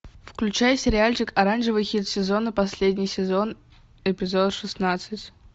включай сериальчик оранжевый хит сезона последний сезон эпизод шестнадцать